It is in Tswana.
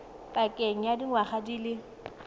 pakeng ya dingwaga di le